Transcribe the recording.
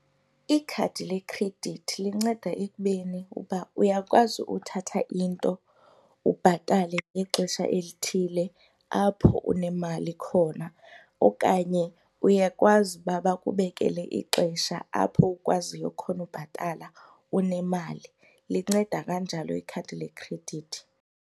Ikhadi lekhredithi linceda ekubeni uba uyakwazi uthatha into ubhatale ngexesha elithile apho unemali khona okanye uyakwazi uba bakubekele ixesha apho ukwaziyo khona ubhatala unemali. Linceda kanjalo ikhadi lekhredithi.